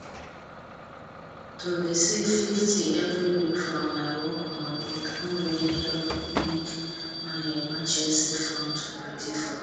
to dey save fifty every week from my work money don really help make my emergency fund ready for use